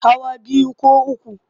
Hawa biyu ko uku.